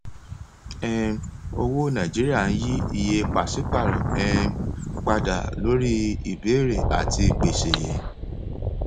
um owó nàìjíríà ń yí iye pàṣípàrọ um padà lórí ìbéèrè àti ìpèsè